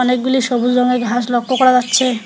অনেকগুলি সবুজ রঙের ঘাস লক্ষ করা যাচ্ছে।